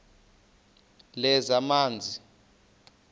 lezamanzi